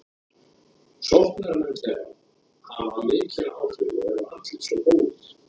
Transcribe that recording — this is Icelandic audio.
Sóknarmennirnir þeirra hafa mikil áhrif og eru allir svo góðir.